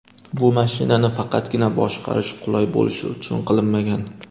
Bu mashinani faqatgina boshqarish qulay bo‘lishi uchun qilinmagan.